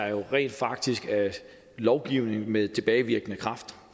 jo rent faktisk er lovgivning med tilbagevirkende kraft